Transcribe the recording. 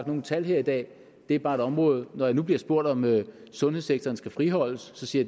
nogen tal her i dag det er bare et område når jeg nu bliver spurgt om sundhedssektoren skal friholdes så siger